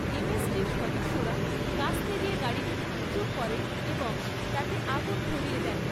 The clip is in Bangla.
এমএসটির সদস্যরা কাস্তে দিয়ে গাড়িটি ভাঙচুর করে এবং তাতে আগুন ধরিয়ে দেয়।